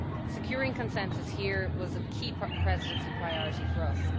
Securing consensus here was a key Presidency priority for us.